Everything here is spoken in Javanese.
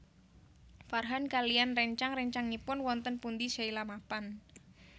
Farhan kaliyan réncang réncangipun wonten pundi Sheila mapan